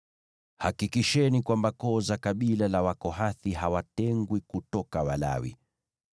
“Hakikisheni kwamba koo za kabila la Wakohathi hawatengwi kutoka Walawi.